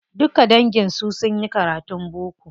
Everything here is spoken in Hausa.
Duka dangin su sunyi karatun boko.